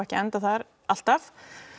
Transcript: enda þar alltaf